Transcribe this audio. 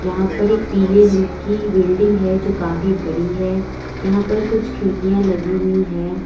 यहां पर एक पीले रंग की बिल्डिंग है जो काफी बड़ी है यहां पर कुछ खिड़कियां लगी हुई हैं।